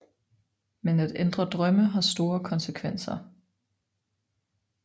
Men at ændre drømme har store konsekvenser